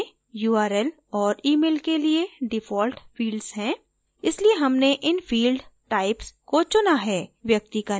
drupal में url और email के लिए default fields हैं इसलिए हमने इन field types को चुना है